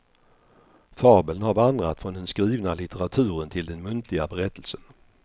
Fabeln har vandrat från den skrivna litteraturen till den muntliga berättelsen.